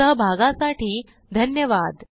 सहभागासाठी धन्यवाद